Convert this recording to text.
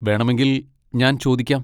വേണമെങ്കിൽ ഞാൻ ചോദിക്കാം.